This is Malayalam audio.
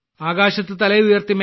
ആകാശത്ത് തല ഉയർത്തി